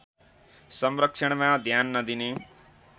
संरक्षणमा ध्यान नदिने